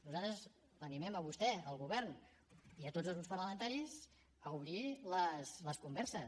nosaltres els animem a vostè al govern i a tots els grups parlamentaris a obrir les converses